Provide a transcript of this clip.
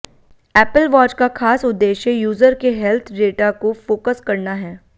Apple watch का खास उद्देश्य यूजर के हेल्थ डेटा को फोकस करना है